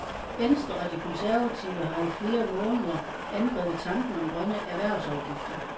Venstre og de konservative har i flere måneder angrebet tanken om grønne erhvervsafgifter.